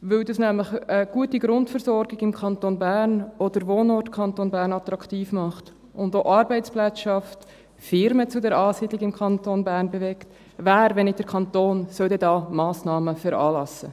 weil das nämlich eine gute Grundversorgung im Kanton Bern ist und den Wohnort Kanton Bern attraktiv macht und auch Arbeitsplätze schafft, Firmen zur Ansiedlung im Kanton Bern bewegt, wer, wenn nicht der Kanton, soll denn da Massnahmen veranlassen?